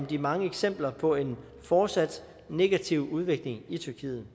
de mange eksempler på en fortsat negativ udvikling i tyrkiet